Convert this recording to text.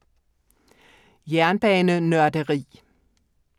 Jernbanenørderi